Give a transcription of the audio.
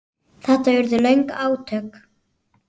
Þetta urðu löng átök.